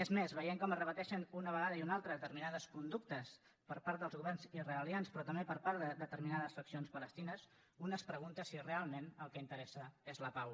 és més veient com es repeteixen una vegada i una altra determinades conductes per part dels governs israe lians però també per part de determinades faccions palestines un es pregunta si realment el que interessa és la pau